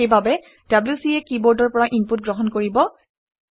সেইবাবে wc এ কিবৰ্ডৰ পৰা ইনপুট গ্ৰহণ কৰিব